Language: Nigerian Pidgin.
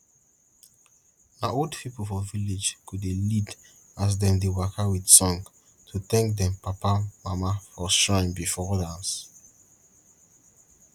na old pipo for village go dey lead as dem dey waka with song to thank dem papa mama for shrine bifo dance